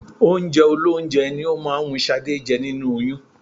Oúnjẹ olóúnjẹ ni ó máa ń wú Ṣadé jẹ nínú oyún